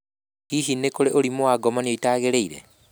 Hihi nĩ kũrĩ na ũrimũ wa ngomanio itagĩrĩire?